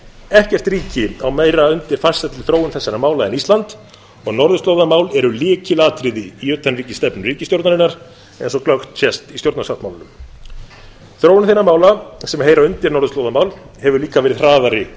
ekkert ríki á meira undir farsælli þróun þessara mála en ísland og norðurslóðamál eru lykilatriði í utanríkisstefnu ríkisstjórnarinnar eins og glöggt sést í stjórnarsáttmálanum þróun þeirra mála sem heyra undir norðurslóðamál hefur líka verið hraðari